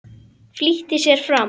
Flýtti sér fram.